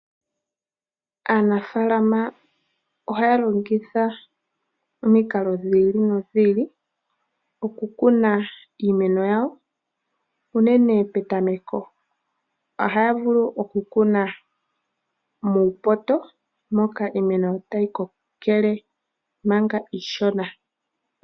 Aanafalama ohaya longitha omikalo dhi ili nodhi ili okukuna iimeno yawo, unene petameko. Ohaya vulu okukuna muupoto moka iimeno tayi kokele manga iishona.